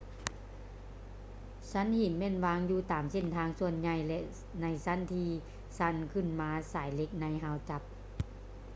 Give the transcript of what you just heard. ຊັ້ນຫີນແມ່ນວາງຢູ່ຕາມເສັ້ນທາງສ່ວນໃຫຍ່ ແລະ ໃນຊັ້ນທີຊັນຂຶ້ນມາສາຍເຫຼັກໃນຮາວຈັບ